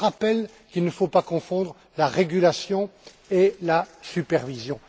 Je rappelle qu'il ne faut pas confondre régulation et supervision.